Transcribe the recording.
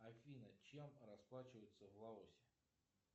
афина чем расплачиваются в лаосе